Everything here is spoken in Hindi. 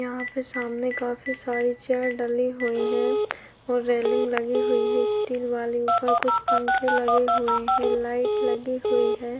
यहाँ पे सामने काफी सारी चेयर डली हुई है और रेलिंग लगी हुई है स्टील वाली ऊपर कुछ पंख लगे हुए हैं लाइट लगी हुई है।